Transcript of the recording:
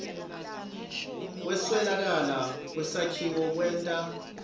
kweswelakala kwesakhiwo kwenta